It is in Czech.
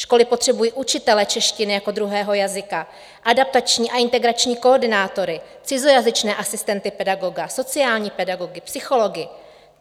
Školy potřebují učitele češtiny jako druhého jazyka, adaptační a integrační koordinátory, cizojazyčné asistenty pedagoga, sociální pedagogy, psychology.